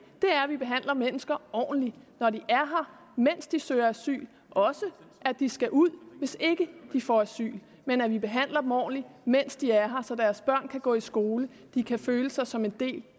er at vi behandler mennesker ordentligt når de er her mens de søger asyl og også at de skal ud hvis ikke de får asyl men at vi behandler dem ordentligt mens de er her så deres børn kan gå i skole og de kan føle sig som en del